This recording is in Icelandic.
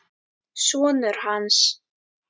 Sonur hans!